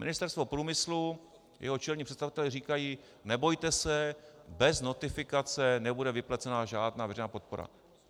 Ministerstvo průmyslu, jeho čelní představitelé, říkají: nebojte se, bez notifikace nebude vyplacena žádná veřejná podpora.